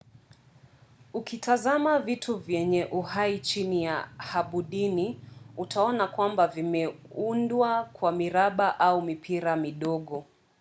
ukitazama vitu vyenye uhai chini ya hadubini utaona kwamba vimeudwa kwa miraba au mipira midogo